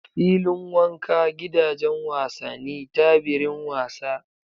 Fillin wanka, Gidajen wasani, Tabirin wasa